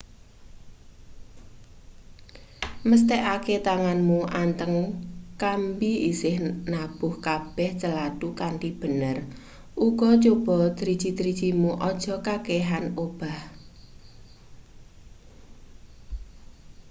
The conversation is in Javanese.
mesthekake tanganmu anteng kambi isih nabuh kabeh calathu kanthi bener uga coba driji-drijimu aja kakehan obah